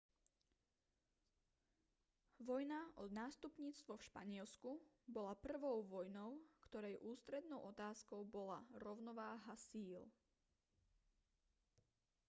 vojna o nástupníctvo v španielsku bola prvou vojnou ktorej ústrednou otázkou bola rovnováha síl